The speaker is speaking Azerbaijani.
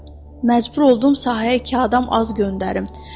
Məcbur oldum sahəyə iki adam az göndərim.